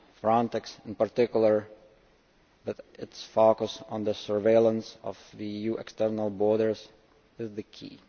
Frontex in particular, with its focus on the surveillance of the EU external borders, will be key.